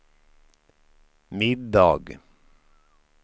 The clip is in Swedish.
middag